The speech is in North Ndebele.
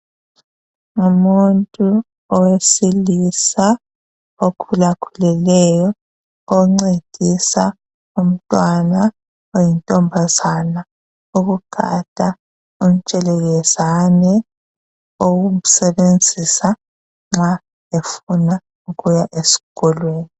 Umuntu owesilisa okhula khulileyo oncedisa umntwana oyintombazana ukugada ontshelelezani ukusebenzisa nxa befuna ukuya eskolo